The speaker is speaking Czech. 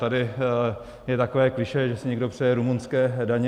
Tady je takové klišé, že si někdo přeje rumunské daně.